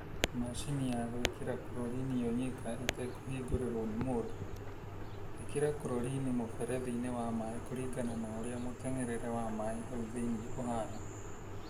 Macini ya gwĩkĩra kurorini yo nyika ĩtekũhingũrĩrwo nĩ mũndũ: Ikĩra kurorini mũberethi-inĩ wa maaĩ kũringana na ũrĩa mũteng'erere wa maaĩ hau thĩinĩ ũhana.